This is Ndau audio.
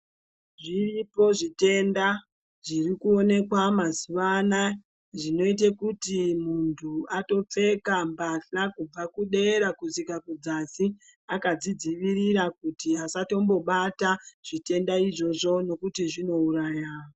Zvitipo zvitenda zvirikuonekwa mazuwa anaya zvinoita kuti muntu atopfeka mbahla kubva kudera kusvika kudzasi adzidziirira kuti asatombobata zvitenda izvozvo nekuti zvinouraya.